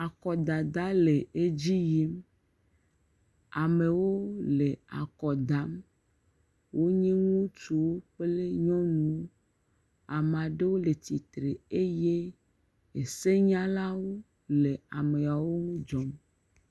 Akɔdada le edzi yim, amewo le akɔ dam. Wonye ŋutsuwo kple nyɔnuwo. Ame aɖewo le tsitre eye senyalawo le ameawo dzɔm.